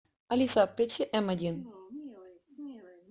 алиса включи м один